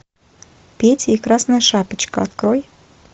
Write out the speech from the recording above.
петя и красная шапочка открой